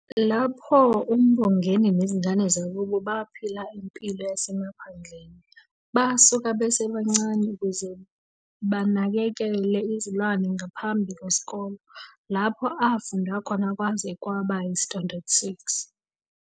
Lapho, uMbongeni nezingane zakubo baphila impilo yasemaphandleni, besuka besebancane ukuze banakekele izilwane ngaphambi kwesikole, lapho afunda khona kwaze kwaba yi-Standard Six.